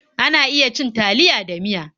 Ana iya cin taliya da miya.